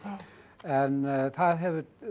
en það hefur